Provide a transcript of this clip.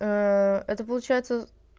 ээ это получается